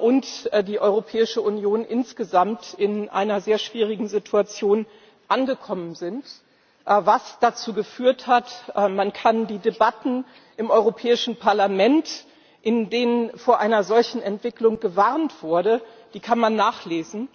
und die Europäische Union insgesamt in einer sehr schwierigen Situation angekommen sind, was dazu geführt hat Man kann die Debatten im Europäischen Parlament, in denen vor einer solchen Entwicklung gewarnt wurde, nachlesen.